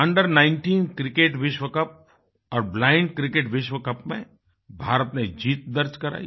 Under19 cricket विश्व cup और Blindक्रिकेट विश्व कप में भारत ने जीत दर्ज करायी